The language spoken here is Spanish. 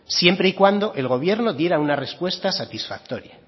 siempre y cuando el gobierno diera una respuesta satisfactoria